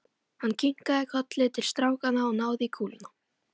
Hann kinkaði kolli til strákanna og náði í kúluna.